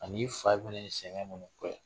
Ani i fa fana ye sɛgɛn minnu kɛ